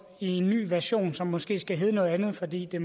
i en ny version som måske skal hedde noget andet fordi det